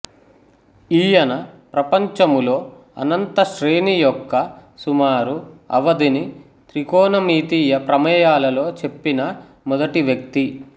ఈయన ప్రపంచములో అనంత శ్రేణీ యొక్క సుమారు అవధిని త్రికోణమితీయ ప్రమేయాలలో చెప్పిన మొదటి వ్యక్తి